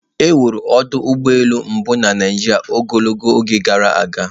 Ewuru ọdụ ụgbọ elu mbụ na Naijiria ogologo oge gara aga